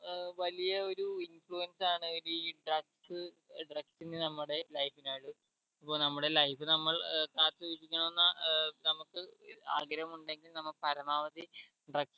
ഏർ വലിയ ഒരു influence ആണ് ഈ drugs drugs ന് നമ്മുടെ life നായിട്ട് അപ്പൊ നമ്മുടെ life നമ്മൾ ഏർ കാത്ത് സൂക്ഷിക്കണം ന്ന ഏർ നമുക്ക് ആഗ്രഹമുണ്ടെങ്കിൽ നമ്മ പരമാവധി drugs